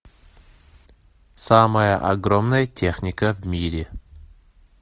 самая огромная техника в мире